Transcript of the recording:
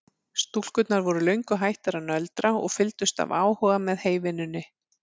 Stúlkurnar voru löngu hættar að nöldra og fylgdust af áhuga með heyvinnunni.